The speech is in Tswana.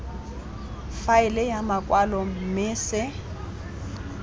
faele ya makwalo mme se